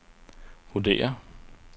vurderer